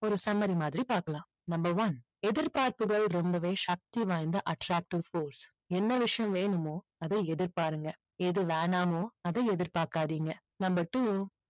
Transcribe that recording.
ஒரு summary மாதிரி பாக்கலாம். number one எதிர்பார்ப்புகள் ரொம்பவே சக்தி வாய்ந்த attractive force என்ன விஷயம் வேணுமோ அதை எதிர்பாருங்க எது வேணாமோ அதை எதிர்பார்க்காதீங்க. number two